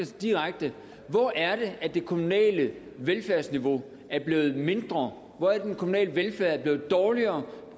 direkte hvor er det at det kommunale velfærdsniveau er blevet mindre hvor er det den kommunale velfærd er blevet dårligere